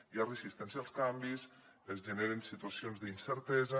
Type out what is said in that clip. hi ha resistència als canvis es generen situacions d’incertesa